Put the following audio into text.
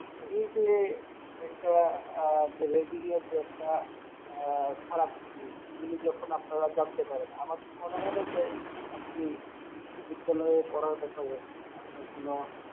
এই যে একটা আহ যে Ragging এর যে একটা আহ খারাপ দিক এগুলি যখন আপনারা জানতে পারেন আমার তো মনে হয় না যে আপনি বিশ্ব বিদ্যালয়ে পড়ার ব্যাপারে আপনার কোনো